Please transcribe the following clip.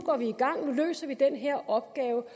løser vi den her opgave